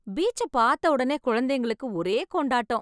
Beach பார்த்த ஒடனே, குழந்தைகளுக்கு ஒரே கொண்டாட்டம்.